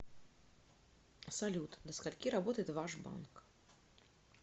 салют до скольки работает ваш банк